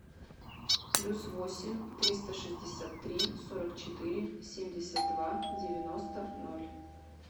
плюс восемь триста шестьдесят три сорок четыре семьдесят два девяносто ноль